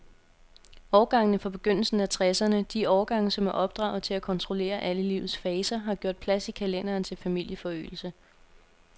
Årgangene fra begyndelsen af tresserne, de årgange, som er opdraget til at kontrollere alle livets faser, har gjort plads i kalenderen til familieforøgelse.